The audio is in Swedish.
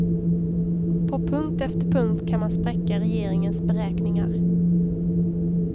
På punkt efter punkt kan man spräcka regeringens beräkningar.